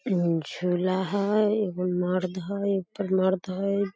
इ झूला हई एगो मर्द हई एकटा मर्द है।